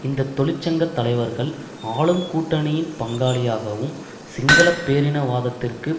இந்த தொழிற்சங்க தலைவர்கள் ஆளும் கூட்டணியின் பங்காளியாகவும் சிங்கள பேரினவாதத்திற்கு